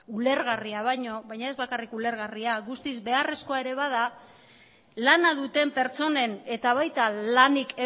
ulergarria baino baina ez bakarrik ulergarria guztiz beharrezkoa ere bada lana duten pertsonen eta baita lanik